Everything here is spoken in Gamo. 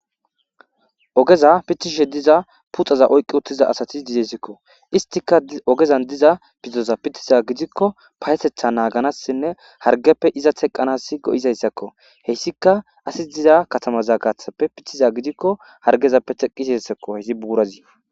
ogeza pitishe diza puxaza oyqqi uttiza asatis dizesikko istika ogezan diza pizoza pitiza gidikko payetetha naaganassinne hargeppe iza teqqanas go7izayssakko heyssika asi diza katamaza gaathappe pithiza gidikko hargezappe teqqizassakko heesi buurazi